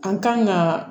An kan ka